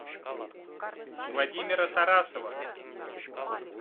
владимира тарасова